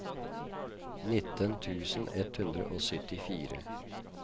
nitten tusen ett hundre og syttifire